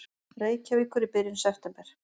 Reykjavíkur í byrjun september.